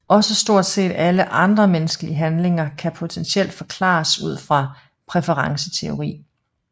Også stort set alle andre menneskelige handlinger kan potentielt forklares ud fra præferenceteori